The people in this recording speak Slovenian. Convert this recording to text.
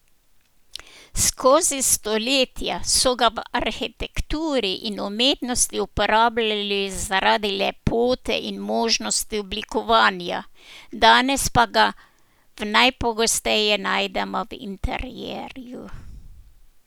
Skozi stoletja so ga v arhitekturi in umetnosti uporabljali zaradi lepote in možnosti oblikovanja, danes pa ga v najpogosteje najdemo v interjerju.